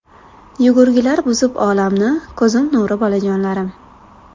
Yugurgilar buzib olamni, Ko‘zim nuri bolajonlarim.